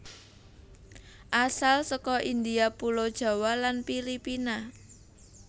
Asal saka India pulo Jawa lan Filipina